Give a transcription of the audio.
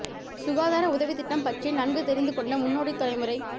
சுகாதார உதவித் திட்டம் பற்றி நன்கு தெரிந்துகொண்ட முன்னோடித் தலைமுறை